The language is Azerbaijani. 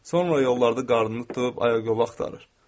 Sonra yollarda qarnını tutub ayaq yolu axtarır.